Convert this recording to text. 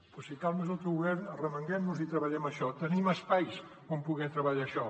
doncs si cal més autogovern arremanguem nos i treballem això tenim espais on poder treballar això